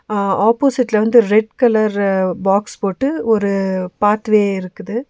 ஆ ஆப்போசிட்ல வந்து red colour box பொட்டு ஒரு பாத்வே இருக்குது.